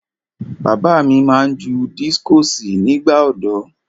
Bàbá mi máa ń ju dískọ̀sì nígbà ọ̀dọ́.